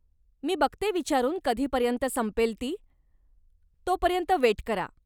मी बघते विचारून कधीपर्यंत संपेल ती, तो पर्यत वेट करा.